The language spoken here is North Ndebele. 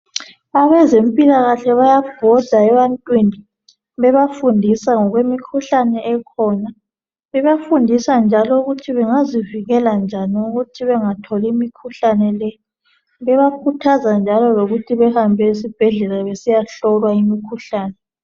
Abezempilekahle bayabhoda ebantwini bebafundisa ngemikhuhlane ekhona. Bebafundisa njalo ukuthi bengazivikela njani ukuthi bengatholi imikhuhlane le, bebakhuthaza njalo lokuthi behambe esibhedlela besiyahlolwa imikhuhlane.